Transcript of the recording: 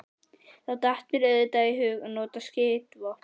Þá datt mér auðvitað í hug að nota skotvopnið.